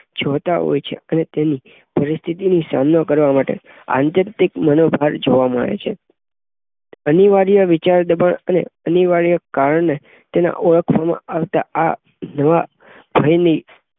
જોતા હોય છે. અને તેની પરિસ્થિતિની સામનો કરવામાં આત્યંતિક મનોભાર જોવા મળે છે. અનિવાર્ય વિચારદબાણ અને અનિવાર્ય ક્રિયાદને ઓહોફોમાં આવતા આ નવા ભયની